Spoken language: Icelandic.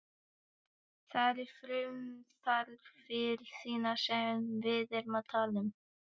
Það eru frumþarfir þínar sem við erum að tala um.